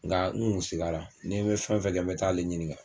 Nka n kun sigira, ni n bɛ fɛn fɛn kɛ n bɛ t'ale ɲiniŋa.